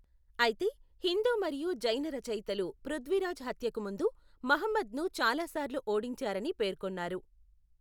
అయితే, హిందూ మరియు జైన రచయితలు పృథ్వీరాజ్ హత్యకు ముందు మహమ్మద్ను చాలాసార్లు ఓడించారని పేర్కొన్నారు.